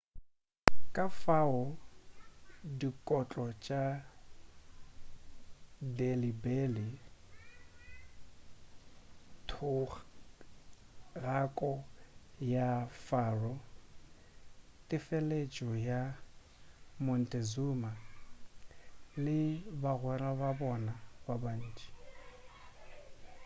kafao dikotlo tša delhi belly thogako ya pharaoh tefeletšo ya montezuma le bagwera ba bona ba bantši